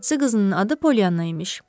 Bacısı qızının adı Pollyanna imiş.